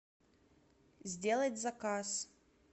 сделать заказ